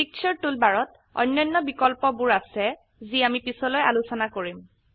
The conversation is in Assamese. পিকচাৰ টুলবাৰত অন্যান্য বিকল্পবোৰ আছে যি আমি পিছলৈ আলোচনা কৰিম